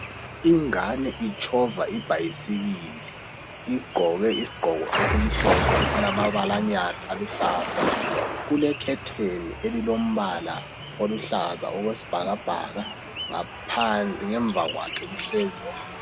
Ingane itshova ibhayisikili igqoke isigqoko esimhlophe alamabalanyana aluhlaza kulekhetheni elilombala oluhlaza okwesibhakabhaka ngemva kwakhe kuhlezi omunye.